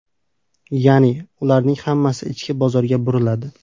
Ya’ni ularning hammasi ichki bozorga buriladi.